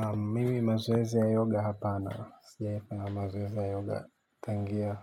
Na mimi mazoezi ya yoga hapana, sijaipa mazoezi ya yoga, tangia,